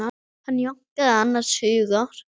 Hann jánkaði annars hugar.